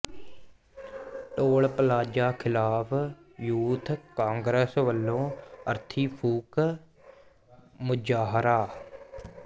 toll plaza ਖ਼ਿਲਾਫ਼ youth Congress ਵੱਲੋਂ ਅਰਥੀ ਫੂਕ ਮੁਜ਼ਾਹਰਾ